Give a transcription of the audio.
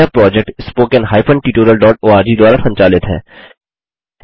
यह project httpspoken tutorialorg द्वारा संचालित है